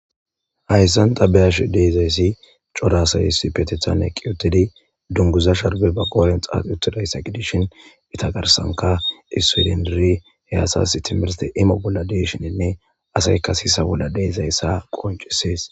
hayissan ta be'ashe dizayissi Cora asayi issipetethan eqqi uttidi dunguzza sharbbe ba qhdodhdhen xaxxi uttidaysa gidishen eta garssankka issoyi dendidi he asatas timmirtte IMO bollan de'ishininne asayikka sisa bolla de'izayissa qonccises.